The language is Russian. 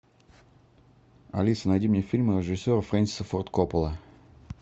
алиса найди мне фильмы режиссера фрэнсиса форд коппола